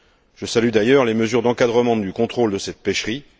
Je salue d'ailleurs les mesures d'encadrement du contrôle de cette pêcherie.